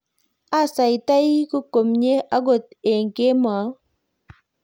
asaitoi kumye akot eng kemou